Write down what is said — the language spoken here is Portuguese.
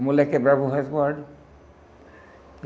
A mulher quebrava o resguardo.